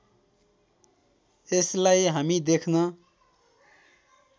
यसलाई हामी देख्न